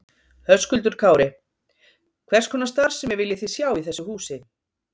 Höskuldur Kári: Hvers konar starfsemi viljið þið sjá í þessu húsi?